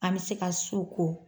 An bɛ se ka su ko